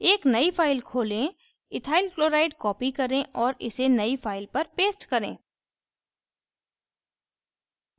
एक नयी file खोलें ethyl chloride copy करें और इसे नयी file पर paste करें